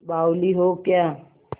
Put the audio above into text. बावली हो क्या